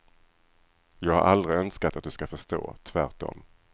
Jag har aldrig önskat att du ska förstå, tvärtom.